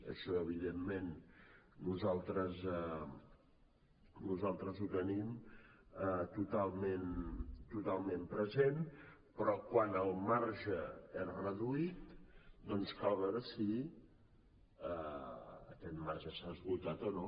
això evidentment nosaltres ho tenim totalment present però quan el marge és reduït doncs cal veure si aquest marge s’ha esgotat o no